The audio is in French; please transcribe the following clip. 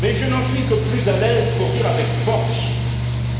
Je n'en suis que plus à l'aise pour dire avec force